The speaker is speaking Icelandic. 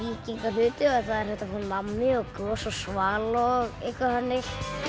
víkingahluti og þar er hægt að fá nammi gos og Svala og eitthvað þannig